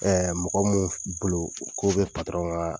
Ɛɛ mɔgɔ minnu bolo k'o bɛ patɔrɔn ka